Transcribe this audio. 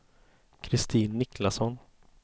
Kristin Niklasson